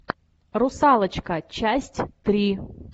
русалочка часть три